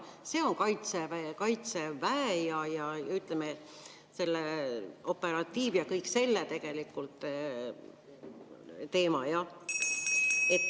See on Kaitseväe ja, ütleme, operatiiv‑ ja kõik selline teema.